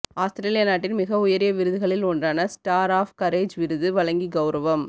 ஆஸ்திரேலிய நாட்டின் மிக உயரிய விருதுகளில் ஒன்றான ஸ்டார் ஆஃப் கரேஜ் விருது வழங்கி கௌரவம்